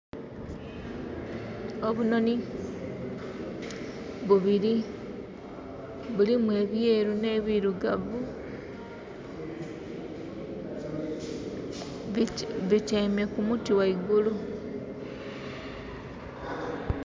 Obunoni bubiri bulimu ebyeru ne birugavu butyaime kumuti ghaigulu.